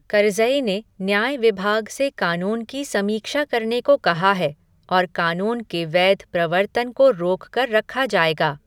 करज़ई ने न्याय विभाग से कानून की समीक्षा करने को कहा है और कानून के वैध प्रवर्तन को रोक कर रखा जाएगा।